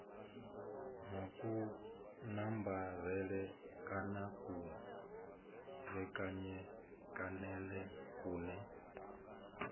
na kunambarele kana kutevhekanele kune